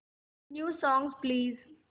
new songs please